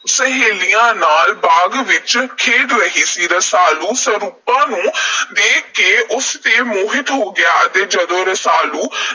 ਸਹੇਲੀਆਂ ਨਾਲ ਬਾਗ਼ ਵਿਚ ਖੇਡ ਰਹੀ ਸੀ। ਰਸਾਲੂ ਸਰੂਪਾਂ ਨੂੰ ਦੇਖ ਕੇ ਉਸ ‘ਤੇ ਮੋਹਿਤ ਹੋ ਗਿਆ ਤੇ ਜਦੋਂ ਰਸਾਲੂ